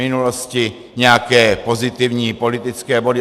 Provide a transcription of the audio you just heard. - minulosti nějaké pozitivní politické body.